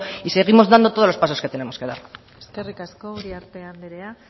y seguimos dando todos los pasos que tenemos que dar eskerrik asko uriarte anderea